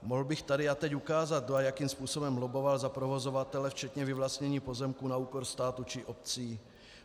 Mohl bych tady a teď ukázat, kdo a jakým způsobem lobboval za provozovatele včetně vyvlastnění pozemků na úkor státu či obcí.